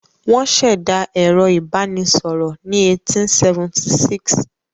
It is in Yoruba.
Wọ́n ṣẹ̀dá ẹ̀rọ ìbanisọ̀rọ̀ ní 1876.